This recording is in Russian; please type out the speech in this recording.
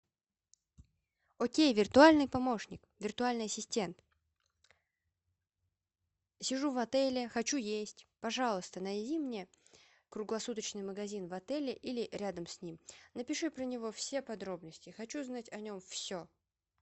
окей виртуальный помощник виртуальный ассистент сижу в отеле хочу есть пожалуйста найди мне круглосуточный магазин в отеле или рядом с ним напиши про него все подробности я хочу узнать о нем все